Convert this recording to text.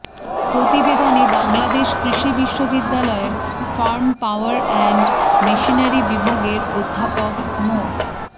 প্রতিবেদনে বাংলাদেশ কৃষি বিশ্ববিদ্যালয়ের ফার্ম পাওয়ার অ্যান্ড মেশিনারি বিভাগের অধ্যাপক মো